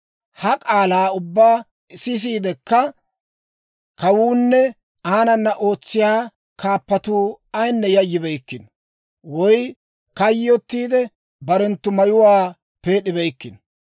Ha k'aalaa ubbaa sisiidekka kawuunne aanana ootsiyaa kaappatuu ayinne yayyibeykkino; woy kayyotiide, barenttu mayuwaa peed'ibeykkino.